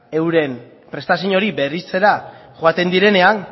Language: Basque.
euren prestazio hori berritzera joaten direnean